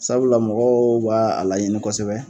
Sabula mɔgɔw b'a a laɲini kosɛbɛ